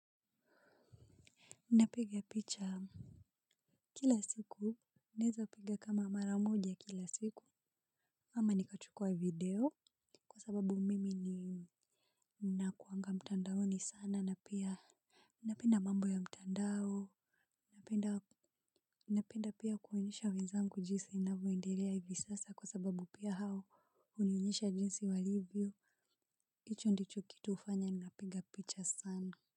Napiga picha kila siku. Naeza piga kama mara moja kila siku ama nikachukua video. Kwa sababu mimi ninakuwanga mtandaoni sana na pia napenda mambo ya mtandao. Napenda pia kuonyesha wenzangu jinsi ninavyoendelea hivi sasa kwa sababu pia hao hunionyesha jinsi walivyo hicho ndicho kitu hufanya ninapiga picha sana.